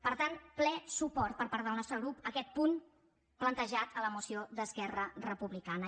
per tant ple suport per part del nostre grup a aquest punt plantejat a la moció d’esquerra republicana